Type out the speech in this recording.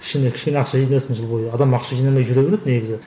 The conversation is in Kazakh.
кішкене кішкене ақша жинасын жыл бойы адам ақша жинамай жүре береді негізі